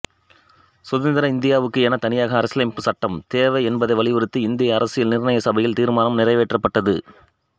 சுதந்திர இந்தியாவுக்கு என தனியாக அரசியலமைப்புச் சட்டம் தேவை என்பதை வலியுறுத்தி இந்திய அரசியல் நிர்ணய சபையில் தீர்மானம் நிறைவேற்றப்பட்டது